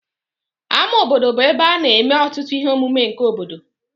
Ama obodo bụ ebe a na-eme ọtụtụ ihe omume nke obodo